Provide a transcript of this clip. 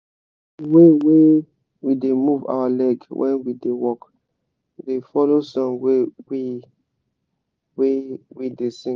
the way we da move our leg when we da work da follow song wey we wey we da sing